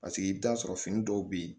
Paseke i bɛ t'a sɔrɔ fini dɔw bɛ ye